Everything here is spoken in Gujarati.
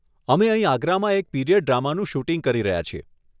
અમે અહીં આગ્રામાં એક પીરિયડ ડ્રામાનું શૂટિંગ કરી રહ્યા છીએ.